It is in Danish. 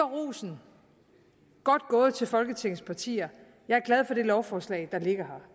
rosen godt gået til folketingets partier jeg er glad for det lovforslag der ligger her